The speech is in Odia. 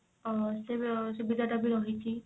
ତ ସେ ବି ରହିଛି